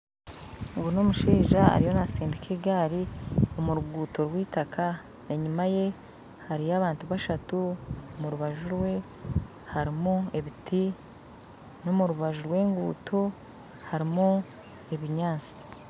Ogu n'omushaija ariyo naasindika egaari omu ruguuto rwitaka, enyima ye hariyo abantu bashatu, omurubaju rwe harimu ebiti n'omu rubaju rw'eguuto harimu ebinyansi.